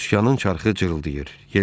Sükanın çarxı cırıldayırdı.